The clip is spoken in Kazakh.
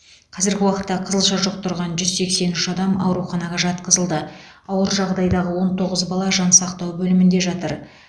қазіргі уақытта қызылша жұқтырған жүз сексен үш адам ауруханаға жатқызылды ауыр жағдайдағы он тоғыз бала жансақтау бөлімінде жатыр